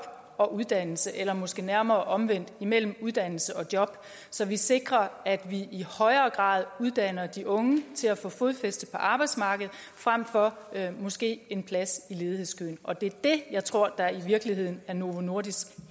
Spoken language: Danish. og uddannelse eller måske nærmere omvendt imellem uddannelse og job så vi sikrer at vi i højere grad uddanner de unge til at få fodfæste på arbejdsmarkedet frem for måske en plads i ledighedskøen og det er det jeg tror der i virkeligheden er novo nordisks